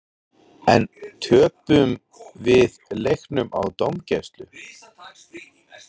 En töpuðum við leiknum á dómgæslu?